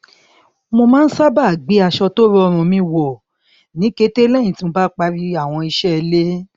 mo má n sábà gbé aṣọ tó rọrùn mi wọ ní kété lẹyìn tí mo bá parí àwọn iṣẹ ilé